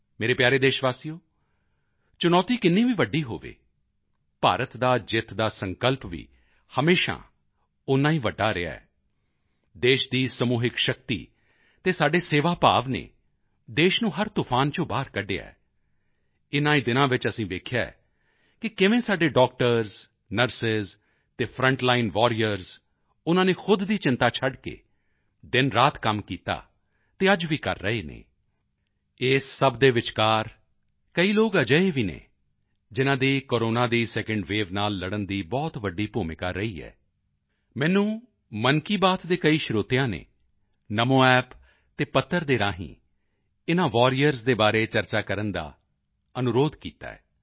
ਮੇਰੇ ਪਿਆਰੇ ਦੇਸ਼ਵਾਸੀਓ ਚੁਣੌਤੀ ਕਿੰਨੀ ਵੀ ਵੱਡੀ ਹੋਵੇ ਭਾਰਤ ਦਾ ਜਿੱਤ ਦਾ ਸੰਕਲਪ ਵੀ ਹਮੇਸ਼ਾ ਓਨਾ ਹੀ ਵੱਡਾ ਰਿਹਾ ਹੈ ਦੇਸ਼ ਦੀ ਸਮੂਹਿਕ ਸ਼ਕਤੀ ਅਤੇ ਸਾਡੇ ਸੇਵਾ ਭਾਵ ਨੇ ਦੇਸ਼ ਨੂੰ ਹਰ ਤੂਫ਼ਾਨ ਚੋਂ ਬਾਹਰ ਕੱਢਿਆ ਹੈ ਇਨ੍ਹਾਂ ਹੀ ਦਿਨਾਂ ਵਿੱਚ ਅਸੀਂ ਵੇਖਿਆ ਹੈ ਕਿ ਕਿਵੇਂ ਸਾਡੇ ਡਾਕਟਰਜ਼ ਨਰਸ ਅਤੇ ਫਰੰਟ ਲਾਈਨ ਵਾਰੀਅਰਜ਼ ਉਨ੍ਹਾਂ ਨੇ ਖੁਦ ਦੀ ਚਿੰਤਾ ਛੱਡ ਕੇ ਦਿਨਰਾਤ ਕੰਮ ਕੀਤਾ ਅਤੇ ਅੱਜ ਵੀ ਕਰ ਰਹੇ ਹਨ ਇਸ ਸਭ ਦੇ ਵਿਚਕਾਰ ਕਈ ਲੋਕ ਅਜਿਹੇ ਵੀ ਹਨ ਜਿਨ੍ਹਾਂ ਦੀ ਕੋਰੋਨਾ ਦੀ ਸੈਕੰਡ ਵੇਵ ਨਾਲ ਲੜਨ ਦੀ ਬਹੁਤ ਵੱਡੀ ਭੂਮਿਕਾ ਰਹੀ ਹੈ ਮੈਨੂੰ ਮਨ ਕੀ ਬਾਤ ਦੇ ਕਈ ਸਰੋਤਿਆਂ ਨੇ NamoApp ਅਤੇ ਪੱਤਰ ਦੇ ਰਾਹੀਂ ਇਨ੍ਹਾਂ ਵਾਰੀਅਰਜ਼ ਦੇ ਬਾਰੇ ਚਰਚਾ ਕਰਨ ਦਾ ਬੇਨਤੀ ਕੀਤਾ ਹੈ